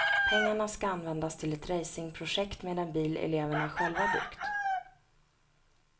Pengarna ska användas till ett racingprojekt med en bil eleverna själva byggt.